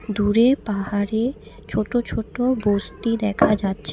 দূরে পাহাড়ে ছোট ছোট বস্তি দেখা যাচ্ছে।